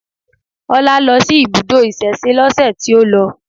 Ọlá lọ sí ibùdó ìsẹ̀se lọ́sẹ̀ tí ó lọ